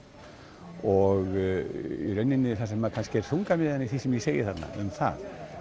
og það sem er kannski þungamiðjan sem ég segi um það